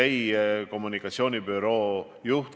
Aga ma palun ikkagi üht täpsustust.